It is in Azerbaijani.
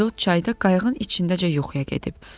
İzod çayda qayığın içindəcə yuxuya gedib.